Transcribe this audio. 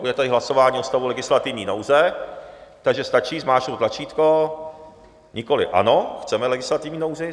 Bude tady hlasování o stavu legislativní nouze, takže stačí zmáčknout tlačítko nikoliv ano - chceme legislativní nouzi.